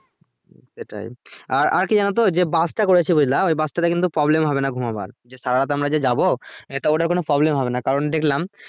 সেটাই আর আর কি জানো তো যে bus টা করেছে বুঝলা ওই bus টা তে কিন্তু problem হবে না ঘুমোবার, যে সারা রাত আমরা যে যাবো এটায় ওটা কোনো problem হবে না কারণ দেখলাম